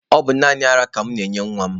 Ọ bụ naanị ara ka mụ na-enye nwa m.